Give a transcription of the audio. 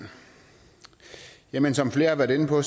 jamen som flere har været inde på